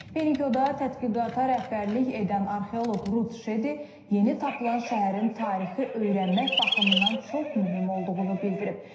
Penikyoda tədqiqata rəhbərlik edən arxeoloq Rut Şedi yeni tapılan şəhərin tarixi öyrənmək baxımından çox mühüm olduğunu bildirib.